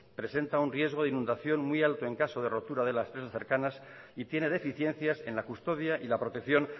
presenta un riesgo de inundación muy alto en caso de rotura de las presas cercanas y tiene deficiencias en la custodia y la protección